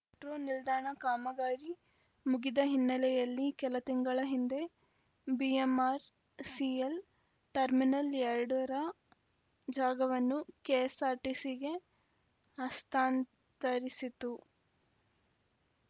metro ನಿಲ್ದಾಣ ಕಾಮಗಾರಿ ಮುಗಿದ ಹಿನ್ನೆಲೆಯಲ್ಲಿ ಕೆಲ ತಿಂಗಳ ಹಿಂದೆ ಬಿಎಂಆರ್‌ಸಿಎಲ್‌ ಟರ್ಮಿನಲ್‌ ಎರಡ ರ ಜಾಗವನ್ನು ಕೆಎಸ್ಸಾರ್ಟಿಸಿಗೆ ಹಸ್ತಾಂತರಿಸಿತು